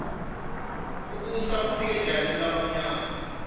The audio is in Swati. kubusa kufike njani kulabamyama